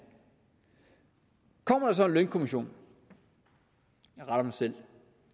kommer der så en lønkommission jeg retter mig selv